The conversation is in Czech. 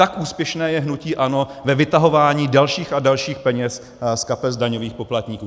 Tak úspěšné je hnutí ANO ve vytahování dalších a dalších peněz z kapes daňových poplatníků.